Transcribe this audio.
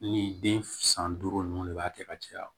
Ni den san duuru ninnu de b'a kɛ ka caya